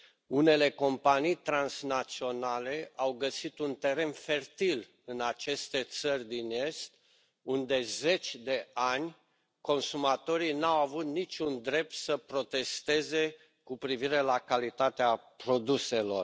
Unele companii transnaționale au găsit un teren fertil în aceste țări din Est, unde, zeci de ani, consumatorii nu au avut niciun drept să protesteze cu privire la calitatea produselor.